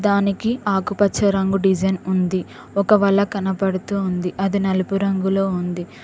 దానికి ఆకుపచ్చ రంగు డిజైన్ ఉంది ఒక వల కనపడుతుంది అది నలుపు రంగులో ఉంది.